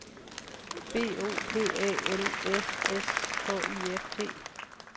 B O P Æ L S S K I F T